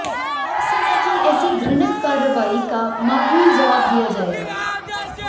पाक सेना की ऐसी घृणित कार्रवाई का माकूल जवाब दिया जाएगा